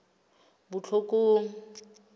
botlhokong